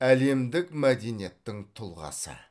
әлемдік мәдениеттің тұлғасы